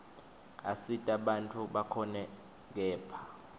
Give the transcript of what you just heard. asita bantfu bakhone kephla